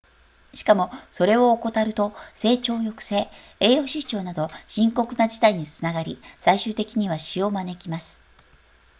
しかもそれを怠ると成長抑制栄養失調など深刻な事態につながり最終的には死を招きます